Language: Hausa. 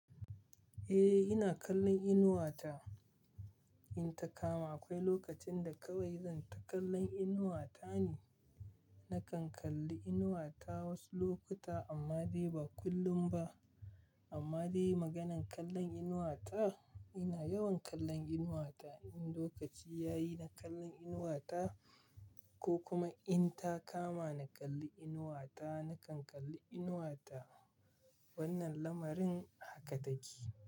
Eh, ina kallon Inuwa ta in ta kama. Akwai lokacin da kawai zan ta kallon Inuwa ta ne. Nakan kalli Inuwa ta wasu lokuta amma dai ba kullum ba. Amma dai maganan kallon Inuwa ta, ina yawan kallon Inuwa ta. In lokaci ya yi na kallon Inuwa ta ko kuma in ta kama na kalli Inuwa ta, nakan kalli Inuwa ta. Wannan lamarin haka take.